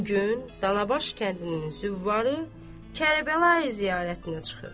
Bu gün Danabaş kəndinin züvvarı Kərbəlayi ziyarətinə çıxır.